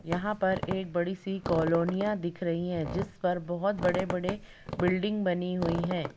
यहाँ पर एक बड़ी सी कालोनिया दिख रही हैं। जिस पर बहुत बड़े-बड़े बिल्डिंग बनी हुई है।